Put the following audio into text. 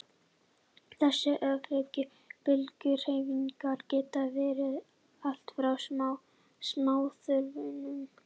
þessar öfugu bylgjuhreyfingar geta verið allt frá smáþörmunum